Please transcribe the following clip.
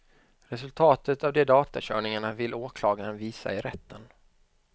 Resultatet av de datakörningarna vill åklagaren visa i rätten.